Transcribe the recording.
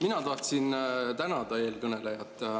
Mina tahtsin tänada eelkõnelejat.